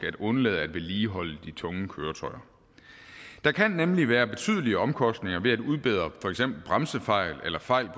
undlade at vedligeholde de tunge køretøjer der kan nemlig være betydelige omkostninger ved at udbedre for eksempel bremsefejl eller fejl